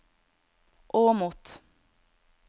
Åmot